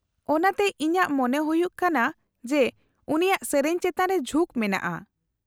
-ᱚᱱᱟᱛᱮ ᱤᱧᱟᱹᱜ ᱢᱚᱱᱮ ᱦᱩᱭᱩᱜ ᱟᱠᱟᱱᱟ ᱡᱮ ᱩᱱᱤᱭᱟᱜ ᱥᱮᱹᱨᱮᱹᱧ ᱪᱮᱛᱟᱱ ᱨᱮ ᱡᱷᱩᱠ ᱢᱮᱱᱟᱜᱼᱟ ᱾